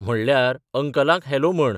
म्हणल्यार, अंकलाक हॅलो म्हण.